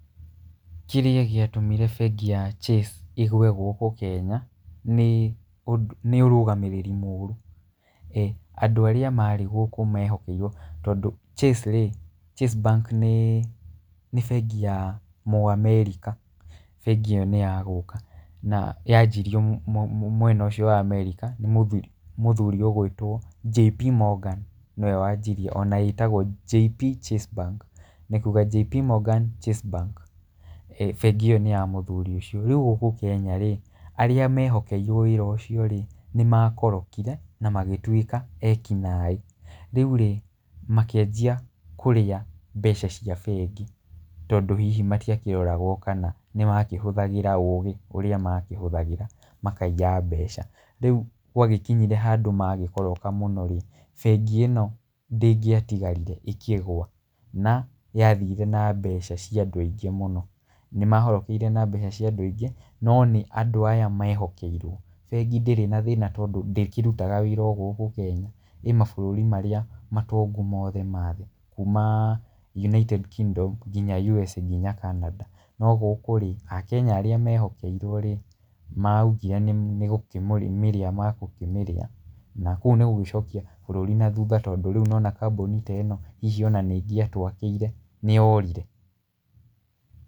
Kĩrĩa gĩatũmire bengi ya Chase ĩgũe gũkũ Kenya, nĩ ũrũgamĩrĩri mũru, eeh andũ arĩa marĩ gũkũ mehokerwo tondũ Chase rĩ, chase bank nĩ bengi ya mũamerica, bengi ĩyo nĩ yagũka, na yanjirio mwena ũcio wa America nĩ mũthuri nĩ mũthuri ũgwĩtwo JB Morgan nĩwe wanjirie ona ĩtagwo JB Chase Bank, nĩ kuga JB Morgan Chase Bank, bengi ĩyo nĩya mũthuri ũcio, rĩu gũkũ Kenya rĩ, arĩa mehokeirwo wĩra ũcio rĩ, nĩ makorokire, na magĩtwĩka ekinaĩ, rĩu rĩ, makĩanjia kũrĩa mbeca cia bengi, tondũ hihi matiakĩroragwo, kana nĩ makĩhũthagĩra ũgĩ ũrĩa makĩhũthagĩra makaiya mbeca, rĩu gwagĩkinyire handũ magĩkoroka mũno rĩ, bengi ĩno ndĩngĩtigarire ĩkĩgũa, na yathire na mbeca ciandũ aingĩ mũno, nĩ mahorokeire na mbeca cia andũ aingĩ no nĩ andũ aya mehokeire, bengi ndĩrĩ na thĩna tondũ ndĩkĩrutaga wĩra o gũkũ Kenya, ĩ mabũrũri marĩa matongu mothe mathĩ, kuuma United Kingdom, nginya USA, nginya Cananda, nogũkũ rĩ, a Kenya arĩa mehokeirwo rĩ, maugire nĩ gũkĩmĩria megũkĩmĩrĩa, na kũu nĩ gũgĩcokia bũrũri na thutha tondũ rĩu nĩwona kambuni teno, hihi ona nĩ ngĩatwakĩire nĩ yorire.